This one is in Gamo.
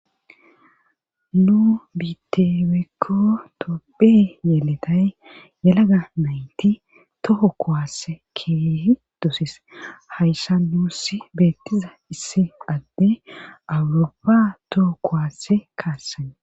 nu biite woykko tophphey yeeletay yelaga nayti toho kowasse keehi dosis hayssa nuus beettiza issi adde awuroppa toho kowaasse kaassan